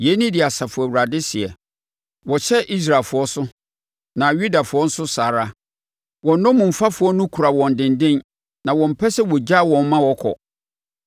Yei ne deɛ Asafo Awurade seɛ: “Wɔhyɛ Israelfoɔ so, na Yudafoɔ nso saa ara. Wɔn nnommumfafoɔ no kura wɔn denden a wɔmpɛ sɛ wɔgyaa wɔn ma wɔkɔ.